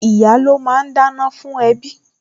Ìyá́ ló máa ń dáná fún ẹbí